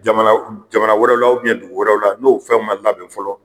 Jamana wɛrɛw la dugu wɛrɛ la ,n'o fɛnw ma labɛn fɔlɔ